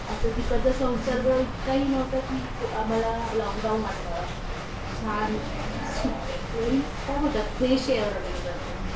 अस तिकडच संसर्ग इतकाही नव्हता कि आम्हाला लॉकडाउन वाटाव छान अस काय म्हणतात फ्रेश ऐर होती तिकडची